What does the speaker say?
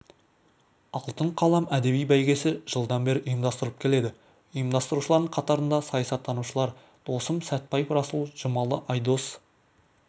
алтын қалам әдеби бәйгесі жылдан бері ұйымдастырылып келеді ұйымдастырушылардың қатарында саясаттанушылар досым сәтбаев расул жұмалы айдос